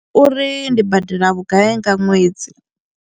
Uri ndi badela vhugai nga ṅwedzi.